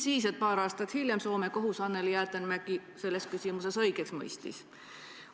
Paar aastat hiljem mõistis Soome kohus Anneli Jäätteenmäki selles küsimuses aga õigeks.